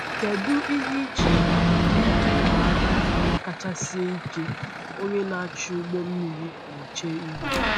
Kedu ihe ị chere bụ ihe ịma aka kacha sie ike onye na-achị ụgbọ mmiri na-eche ihu?